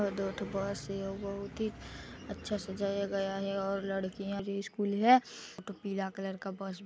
दो ठो बस हे अउ बहुत ही अच्छा सजाया गया है और लड़किया स्कूल है एक ठो पीला कलर का बस भी--